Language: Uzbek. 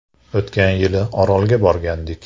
O‘tgan yili Orolga borgandik.